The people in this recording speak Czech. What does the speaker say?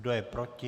Kdo je proti?